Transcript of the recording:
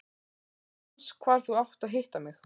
Þú manst hvar þú átt að hitta mig.